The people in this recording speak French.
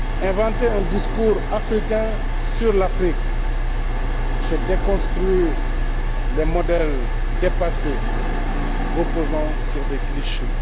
Inventer un discours africain sur l'Afrique, c'est déconstruire le modèle dépassé reposant sur des clichés.